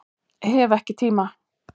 Hef ekki tíma